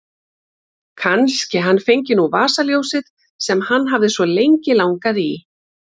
Kannski hann fengi nú vasaljósið sem hann hafði svo lengi langað í.